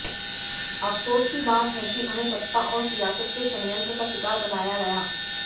अफ़सोस की बात है कि उन्हें सत्ता और सियासत के षड्यंत्र का शिकार बनाया गया